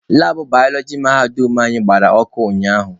Labụ balọọji mahadum anyị gbara ọkụ ụnyaahụ.